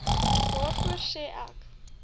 daarvoor sê ek